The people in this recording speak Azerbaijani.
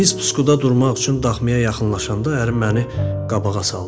Biz pusquda durmaq üçün daxmaya yaxınlaşanda ərim məni qabağa saldı.